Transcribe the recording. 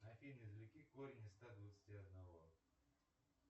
афина извлеки корень из ста двадцати одного